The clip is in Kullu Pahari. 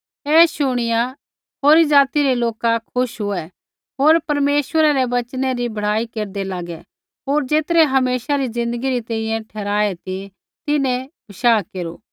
ऐ शुणिया होरी ज़ाति रै लोका खुश हुऐ होर परमेश्वरै रै वचनै री बड़ाई केरदै लागै होर ज़ेतरै हमेशा री ज़िन्दगी री तैंईंयैं ठहराऐ ती तिन्हैं विश्वास केरू